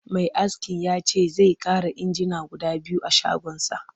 Mai askin ya ce zai ƙara injina guda biyu a shagonsa